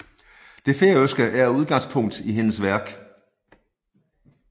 Det færøske er udgangspunkt i hendes værk